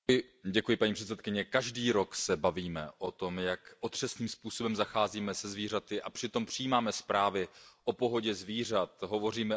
Paní předsedající, každý rok se bavíme o tom, jak otřesným způsobem zacházíme se zvířaty, a přitom přijímáme zprávy o pohodě zvířat, hovoříme o